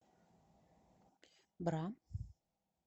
бра